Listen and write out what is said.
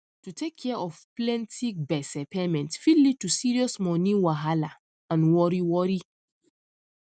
to take care of plenty gbese payment fit lead to serious money wahalla and worry worry